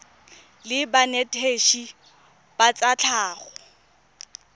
la banetetshi ba tsa tlhago